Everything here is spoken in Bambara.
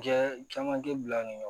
Jɛ caman tɛ bila